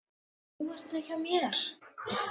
En nú ert þú hjá mér.